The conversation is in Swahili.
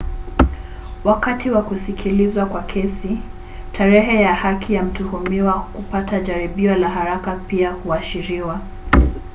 wakati wa kusikilizwa kwa kesi tarehe ya haki ya mtuhumiwa kupata jaribio la haraka pia huashiriwa